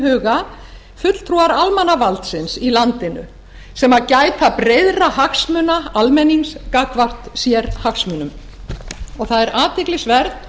huga fulltrúar almannavaldsins í landinu sem gæta breiðra hagsmuna almennings gagnvart sérhagsmunum og það er athyglisvert